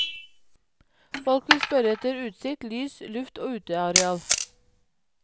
Folk vil spørre etter utsikt, lys, luft og uteareal.